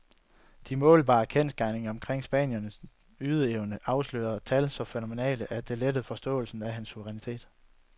De målbare kendsgerninger omkring spanierens ydeevne afslører tal så fænomenale, at det letter forståelsen af hans suverænitet.